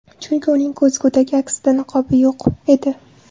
Chunki uning ko‘zgudagi aksida niqobi yo‘q edi.